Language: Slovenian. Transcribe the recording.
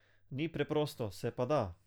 Ni preprosto, se pa da.